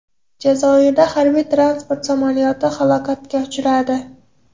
Jazoirda harbiy-transport samolyoti halokatga uchradi.